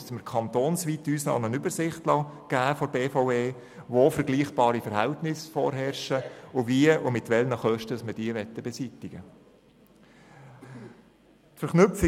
Dann müssten wir uns von der BVE kantonsweit eine Übersicht geben lassen, die aufzeigt, wo vergleichbare Verhältnisse vorherrschen und wie und mit welchen Kosten man die Unfälle beseitigen will.